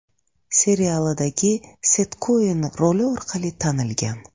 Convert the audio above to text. serialidagi Set Koen roli orqali tanilgan.